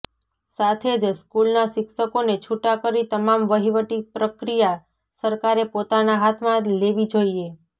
સાથે જ સ્કૂલના શિક્ષકોને છુટા કરી તમામ વહીવટી પ્રક્રિયા સરકારે પોતાના હાથમાં લેવી જોઇએ